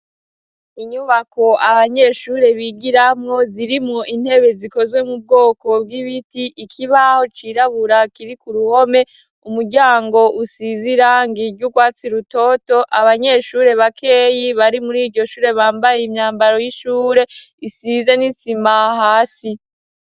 Inyubako abanyeshure bigiramwo, zirimwo intebe zikozwe mu bwoko bw'ibiti, ikibaho cirabura kiri ku ruhome, umuryango usize irangi ry'urwatsi rutoto, abanyeshure bakeyi bari muri iryo shure bambaye imyambaro y'ishure, isize n'isima hasi.